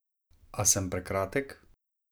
A sem prekratek?